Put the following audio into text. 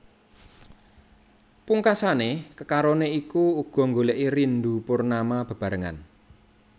Pungkasané kekaroné iku uga nggolèki Rindu Purnama bebarengan